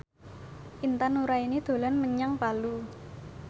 Intan Nuraini dolan menyang Palu